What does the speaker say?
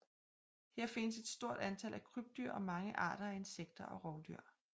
Her findes et stort tal af krybdyr og mange arter af insekter og rovdyr